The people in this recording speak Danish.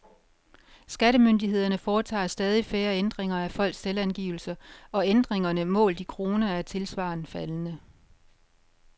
Skattemyndighederne foretager stadig færre ændringer af folks selvangivelser, og ændringerne målt i kroner er tilsvarende faldende.